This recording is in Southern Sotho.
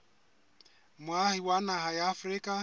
moahi wa naha ya afrika